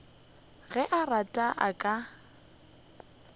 ge a rata a ka